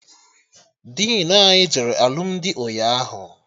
Dinu anyị jere alụmdi ụnyaahụ